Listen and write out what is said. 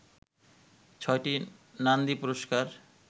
ছয়টি নান্দি পুরস্কার